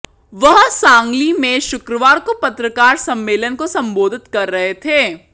वह सांगली में शुक्रवार को पत्रकार सम्मेलन को संबोधित कर रहे थे